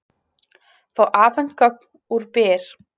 Fá afhent gögn úr Byr